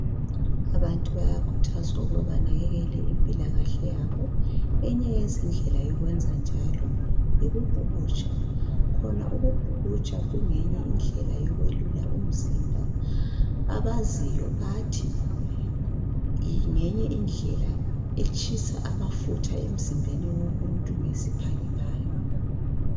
Abantu bayakhuthazwa ukuba banakekele impilakahle yabo eyinye yezindlela yokwenza njalo yikubhukutsha, khona ukubhukutsha kungeyinye indlela yokwelula umzimba, abaziyo bathi ngeyinye indlela etshisa amafutha emzimbeni womuntu ngesiphangiphangi.